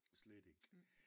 Slet ikke